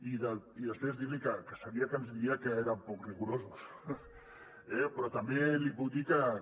i després dir li que sabia que ens diria que érem poc rigorosos eh però també li puc dir que